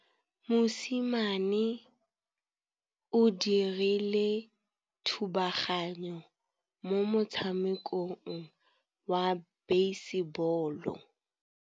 Mosimane o dirile thubaganyô mo motshamekong wa basebôlô.